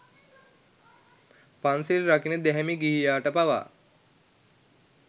පන්සිල් රකින දැහැමි ගිහියාට පවා